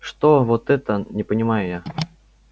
что вот это не понимаю я